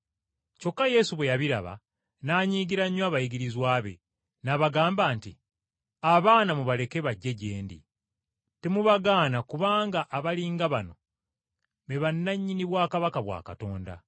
Kyokka Yesu bwe yabiraba n’anyiigira nnyo abayigirizwa be, n’abagamba nti, “Abaana mubaleke bajje gye ndi, temubagaana kubanga abali nga bano, be bannannyini bwakabaka bwa Katonda.